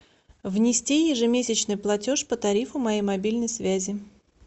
внести ежемесячный платеж по тарифу моей мобильной связи